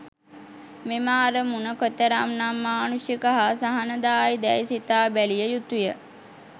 මෙම අරමුණ කෙතරම් නම් මානුෂික හා සහනදායී දැයි සිතාබැලිය යුතුය.